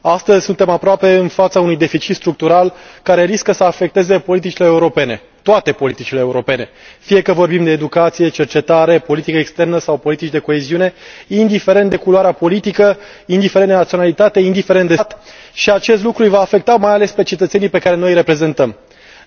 Astăzi, suntem aproape în fața unui deficit structural care riscă să afecteze politicile europene, toate politicile europene, fie că vorbim de educație, cercetare, politică externă sau politici de coeziune, indiferent de culoarea politică, indiferent de naționalitate, indiferent de stat și acest lucru îi va afecta mai ales pe cetățenii pe care noi îi reprezentăm.